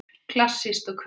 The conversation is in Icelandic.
Klassísk og kvenleg